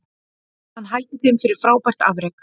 Hann hældi þeim fyrir frábært afrek